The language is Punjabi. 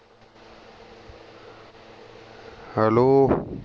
hello